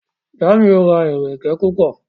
Jamiu ra ẹrẹkẹ púpọ.